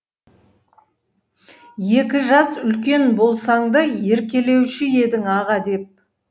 екі жас үлкен болсаң да еркелеуші едің аға деп